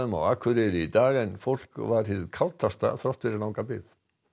á Akureyri í dag en fólk var hið þrátt fyrir langa bið